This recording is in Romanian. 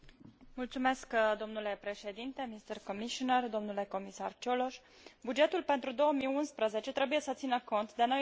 Bugetul pentru 2011 trebuie să țină cont de noile competențe ale Uniunii, dar și de consecințele crizei economice și financiare.